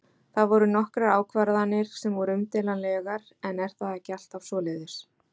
Það voru nokkrar ákvarðanir sem voru umdeilanlegar en er það ekki alltaf svoleiðis?